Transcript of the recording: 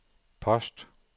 post